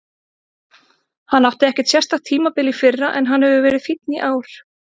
Hann átti ekkert sérstakt tímabil í fyrra en hann hefur verið fínn í ár.